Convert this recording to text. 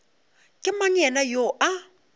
ke mang yena yoo a